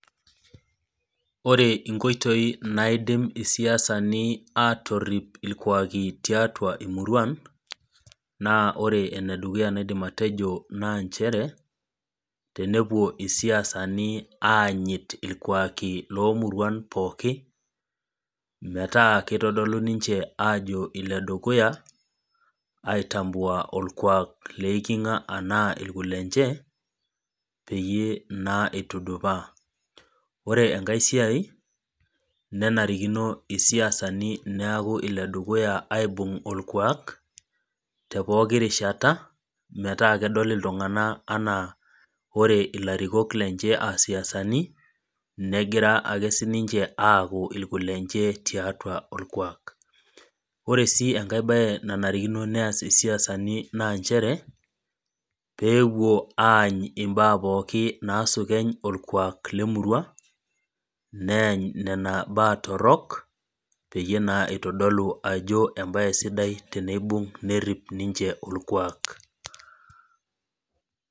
Oore inkoitoi naidim isiasani atorip irkuaki tiatua emurua, naa oore enedukuya naidim atejo naa inchere, tenepuo isiasani aanyit irkuaki lomuruan pooki, metaa keitodolu ninche aajo iledukuya, aitambua irkuak leiking'a tenaa irkulenye, peyie naa eitudupaa. Oore enkae siai nenarikino isiasani niaku iledukuya aibung orkuak, te pooki rishata metaa kedol iltung'anak enaa oore ilarikok lenye enaa isiasani, negir aaake sininche aaku irkulenye tiataua orkuak. Oore sii enkae siai nanarikino neas isiasani, peepuo aany imbaa pookin nasukeny orkuak lemurua, neany nena baa torok, peyie naa eitodolu aajjo embaye sidai teneibung nerip ninche orkuak.